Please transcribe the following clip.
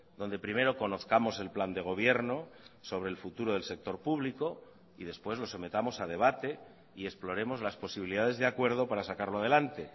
donde primero conozcamos el plan de gobierno sobre el futuro del sector público y después lo sometamos a debate y exploremos las posibilidades de acuerdo para sacarlo adelante